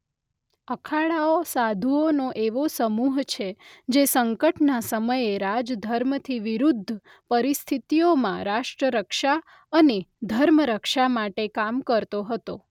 અખાડાઓ સાધુઓનો એવો સમૂહ છે જે સંકટના સમયે રાજધર્મથી વિરુદ્ધ પરિસ્થિતિઓમાં રાષ્ટ્રરક્ષા અને ધર્મરક્ષા માટે કામ કરતો હતો.